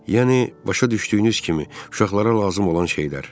Yəni, başa düşdüyünüz kimi uşaqlara lazım olan şeylər.